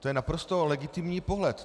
To je naprosto legitimní pohled.